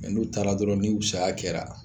N'u taara dɔrɔn ni saya kɛra